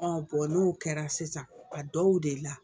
n'o kɛra sisan a dɔw de la